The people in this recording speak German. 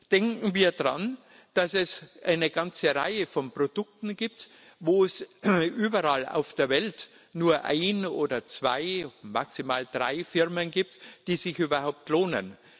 Denken wir daran, dass es eine ganze Reihe von Produkten gibt, wo es überall auf der Welt nur ein oder zwei, maximal drei Firmen gibt, die sich überhaupt lohnen.